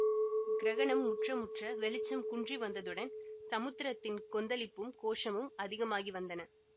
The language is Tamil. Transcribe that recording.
கிரகணம் முற்ற முற்ற வெளிச்சம் குன்றி வந்ததுடன் சமுத்திரத்தின் கொந்தளிப்பும் கோஷமும் அதிகமாகி வந்தன